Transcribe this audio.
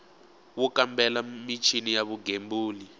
wo kambela michini ya vugembuli